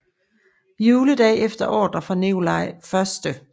Juledag efter ordre fra Nikolaj 1